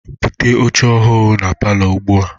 Bute oche ohụrụ ahụ na palọ ugbua!